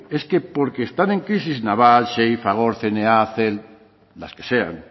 es que porque están en crisis naval xey fagor cna cel las que sean